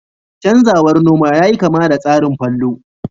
canzawar noma yayi kama da tsarin fallow